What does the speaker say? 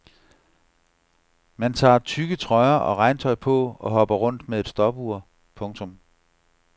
Man tager tykke trøjer og regntøj på og hopper rundt med et stopur. punktum